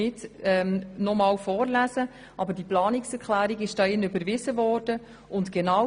Aus der dazu überwiesenen Planungserklärung hat vorher Grossrätin Schnegg zitiert.